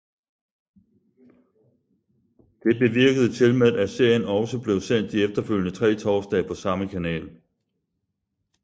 Det bevirkede tilmed at serien også blev sendt de efterfølgende tre torsdage på samme kanal